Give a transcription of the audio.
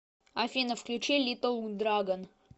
афина включи литтл драгон